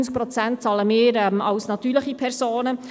90 Prozent zahlen wir als natürliche Personen.